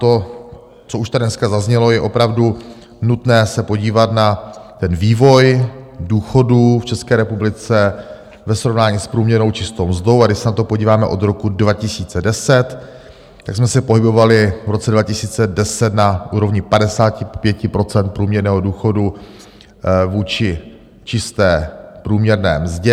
To, co už tady dneska zaznělo, je opravdu nutné se podívat na ten vývoj důchodů v České republice ve srovnání s průměrnou čistou mzdou, a když se na to podíváme od roku 2020, tak jsme se pohybovali v roce 2010 na úrovni 55 % průměrného důchodu vůči čisté průměrné mzdě.